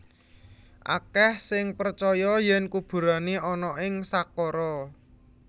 Akèh sing percaya yèn kuburané ana ing Saqqara